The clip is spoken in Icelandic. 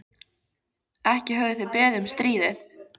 Ekki höfðu þeir beðið um stríðið.